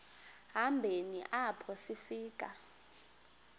hambeni apho sifika